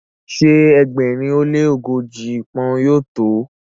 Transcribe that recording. ṣe ẹgbẹrin o le ogoji poun yóò to?